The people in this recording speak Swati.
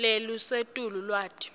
lelisetulu lwati